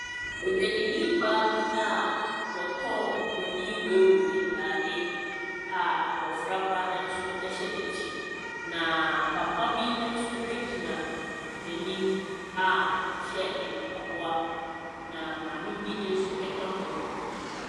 Odwadini baa bi ɔtɔn Buroninwaawu ntaadeɛ a abɔfraba nso hya n'akyi. Na papa ni nso gyina n'anim a ɔhyɛ mpaboa. Na maame bi nso ka ho.